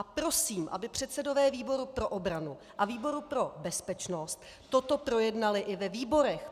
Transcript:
A prosím, aby předsedové výboru pro obranu a výboru pro bezpečnost toto projednali i ve výborech.